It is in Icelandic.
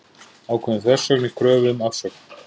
Ákveðin þversögn í kröfu um afsögn